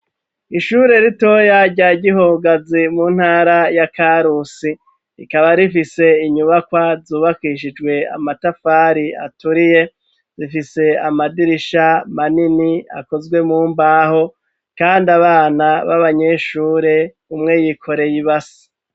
Ishure rito rya Gihogazi mu ntara ya Karusi rikaba rifise inyubakwa zubakishijwe amatafari aturiye zifise amadirisha manini akozwe mumbaho kandi abana babanyeshure umwe y'ikoreye ibasi.